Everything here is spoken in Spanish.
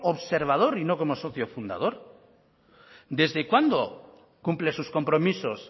observador y no como socio fundador desde cuándo cumple sus compromisos